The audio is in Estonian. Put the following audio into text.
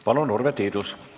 Palun, Urve Tiidus!